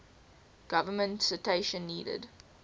government citation needed